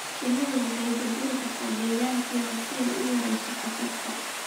Shinnidu waxay bedeli kartaa deegaankeeda si ay u yarayso khatarta.